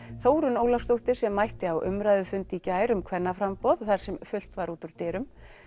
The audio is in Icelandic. Þórunn Ólafsdóttir sem mætti á umræðufund í gær um kvennaframboð þar sem fullt var út úr dyrum